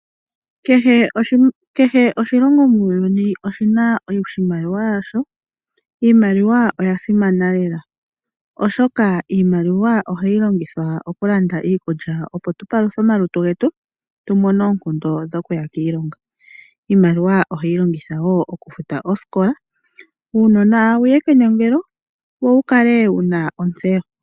Kehe oshilongo muuyuni oshina iimaliwa yasho , iimaliwa oyasimana lela oshoka iimaliwa oha twiilongitha oku landitha iikulya opo tu paluthe omalutu getu tuwape tumone oonkondo dhokuya kiilonga. Iimaliwa ohayi longithwa woo oku futa oosikola opo uunona wuye kenongelo wo wukale wuna ontseyo.